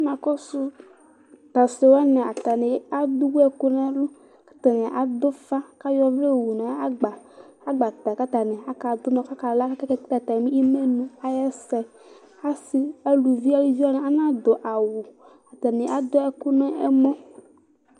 namʊ asi dɩnɩ ewu ɛkʊ nʊ ɛlʊ, atanɩ adʊ ufa kʊ ayɔ ɔvlɛ yowu nʊ agbatɛ kʊ atanɩ kadʊ unɔ, kʊ akala, kʊ atanɩ akekele imenu ayʊ ɛsɛ, aluviwanɩ nadʊ awu, atanɩ adʊ ɛkʊ nʊ ɛmɔ